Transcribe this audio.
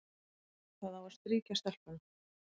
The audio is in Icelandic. Það á að strýkja stelpuna,